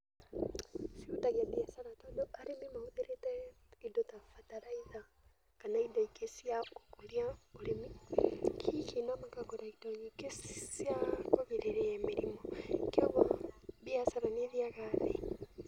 Cihutagia mbiacara tondũ arĩmi mahũthĩrĩte indo ta bataraitha kana indo ingĩ cia gũkũria ũrĩmi, hihi na makagũra indo nyingĩ cia kũgirĩrĩria mĩrimũ kwoguo mbiacara nĩ ĩthiaga thĩ.